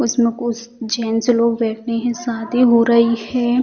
उसमें कुछ जेंट्स लोग बैठे हैं शादी हो रही है।